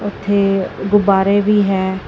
ਇੱਥੇ ਗੁਬਾਰੇ ਵੀ ਹੈ।